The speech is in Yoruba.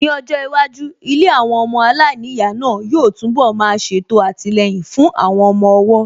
Ní ọjọ́ iwájú, ilé àwọn ọmọ aláìníyàá náà yóò tún bọ̀ má ṣètò àtìlẹyìn fún àwọn ọmọ ọwọ́